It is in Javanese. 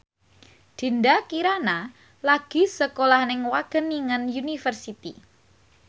Dinda Kirana lagi sekolah nang Wageningen University